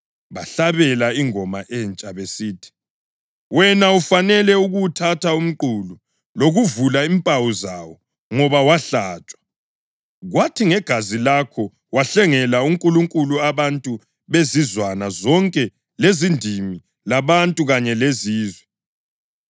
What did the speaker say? Bahlabela ingoma entsha besithi: “Wena ufanele ukuwuthatha umqulu lokuvula impawu zawo, ngoba wahlatshwa, kwathi ngegazi lakho wahlengela uNkulunkulu abantu bezizwana zonke lezindimi labantu kanye lezizwe.